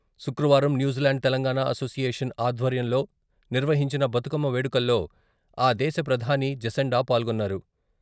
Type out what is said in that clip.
శుక్రవారం New Zealand Telangana association ఆధ్వర్యంలో నిర్వహించిన బతుకమ్మ వేడుకల్లో...ఆ దేశ ప్రధాని జెసిండా పాల్గొన్నారు.